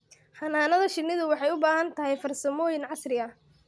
Xannaanada shinnidu waxay u baahan tahay farsamooyin casri ah.